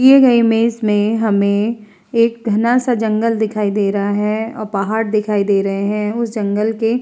दिए गए इमेज में हमें एक घना-सा जंगल दिखाई दे रहा है औ पहाड़ दिखाई दे रहे हैं। उस जंगल के --